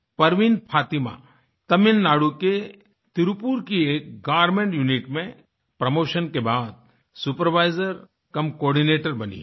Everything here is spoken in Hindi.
परवीन फ़ातिमा तमिलनाडु के त्रिपुर की एक गारमेंट यूनिट में प्रोमोशन के बाद सुपरवाइजरकमकोर्डिनेटर बनी हैं